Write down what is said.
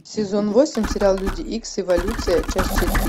сезон восемь сериал люди икс эволюция часть четыре